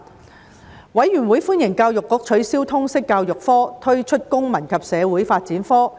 事務委員會歡迎教育局取消通識教育科並推出公民與社會發展科。